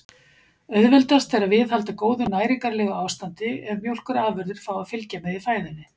Auðveldast er að viðhalda góðu næringarlegu ástandi ef mjólkurafurðir fá að fylgja með í fæðunni.